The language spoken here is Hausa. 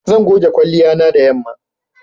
Zan goge kwalliya na da yanma.